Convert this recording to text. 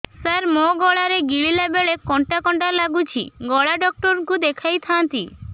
ସାର ମୋ ଗଳା ରେ ଗିଳିଲା ବେଲେ କଣ୍ଟା କଣ୍ଟା ଲାଗୁଛି ଗଳା ଡକ୍ଟର କୁ ଦେଖାଇ ଥାନ୍ତି